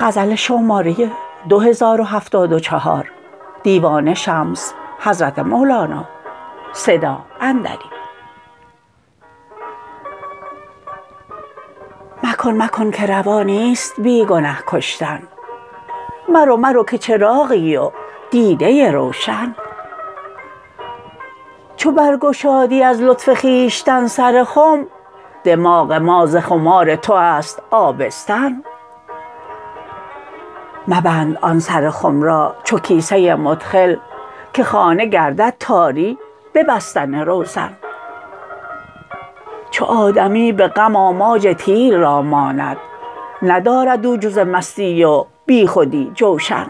مکن مکن که روا نیست بی گنه کشتن مرو مرو که چراغی و دیده روشن چو برگشادی از لطف خویشتن سر خم دماغ ما ز خمار تو است آبستن مبند آن سر خم را چو کیسه مدخل که خانه گردد تاری به بستن روزن چو آدمی به غم آماج تیر را ماند ندارد او جز مستی و بیخودی جوشن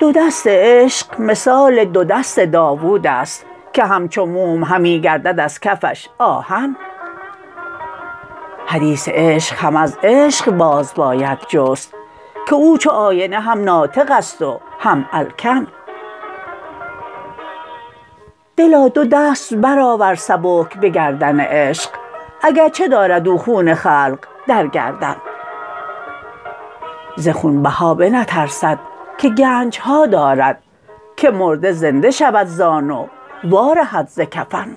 دو دست عشق مثال دو دست داوود است که همچو موم همی گردد از کفش آهن حدیث عشق هم از عشقباز باید جست که او چو آینه هم ناطق است و هم الکن دلا دو دست برآور سبک به گردن عشق اگر چه دارد او خون خلق در گردن ز خونبها بنترسد که گنج ها دارد که مرده زنده شود زان و وارهد ز کفن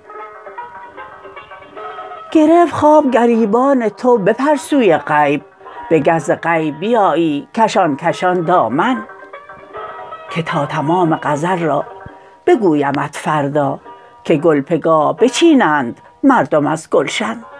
گرفت خواب گریبان تو بپر سوی غیب بگه ز غیب بیایی کشان کشان دامن که تا تمام غزل را بگویمت فردا که گل پگاه بچینند مردم از گلشن